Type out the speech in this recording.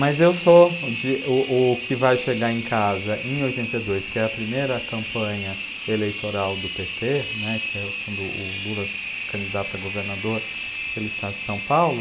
Mas eu sou o de o o que vai chegar em casa em oitenta e dois, que é a primeira campanha eleitoral do pÊ tê né, que é quando o Lula se candidata a governador pelo Estado de São Paulo.